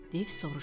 Div soruşdu.